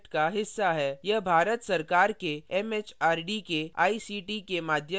यह भारत सरकार के एमएचआरडी के आईसीटी के माध्यम से राष्ट्रीय साक्षरता mission द्वारा समर्थित है